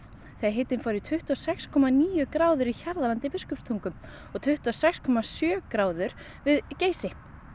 þegar hitinn fór í tuttugu og sex komma níu gráður í Hjarðarlandi í Biskupstungum og tuttugu og sex komma sjö gráður við Geysi